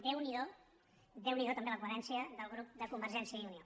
déu n’hi do déu n’hi do també la coherència del grup de convergència i unió